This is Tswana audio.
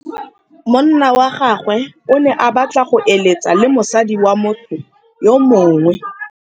Monna wa gagwe o ne a batla go êlêtsa le mosadi wa motho yo mongwe.